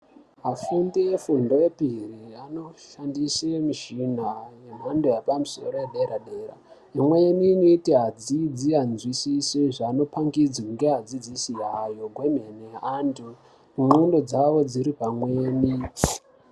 Vafundi vefundo yepiri, anoshandise mishina yemhando yepamusoro yedera dera. Imweni inoita adzidzi andzvisise zvano pangidzva ngevadzidzisi awo ne antu ndxondo dzawo dziripamweni.